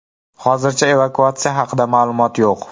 Hozircha evakuatsiya haqida ma’lumot yo‘q.